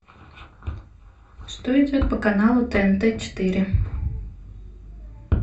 что идет по каналу тнт четыре